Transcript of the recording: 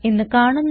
എന്ന് കാണുന്നു